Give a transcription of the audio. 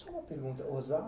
Só uma pergunta